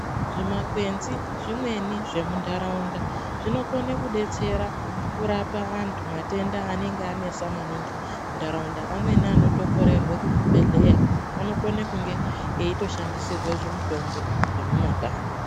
Zvimakwenzi zvimweni zvemuntaraunta zvinokone kusetsera kurapa vanthu matenda anenge anesa maingi mumantaraunda amweni anokororeke kuzvibhedhlera anokone kunge eitoshandisirwe zvimutombo zvemumakanyi.